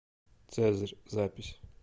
цезарь запись